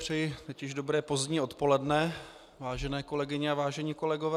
Přeji teď již dobré pozdní odpoledne, vážené kolegyně a vážení kolegové.